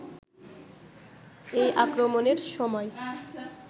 এই আক্রমণের সময়